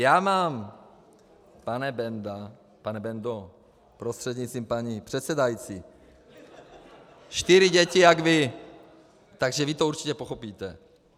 Já mám, pane Benda - pane Bendo, prostřednictvím paní předsedající, čtyři děti jak vy, takže vy to určitě pochopíte.